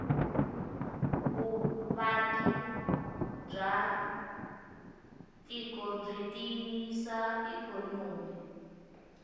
vuvaki bwatiko bwitiyisa ikonomi